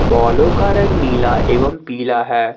बॉलों का रंग नीला एवं पीला है।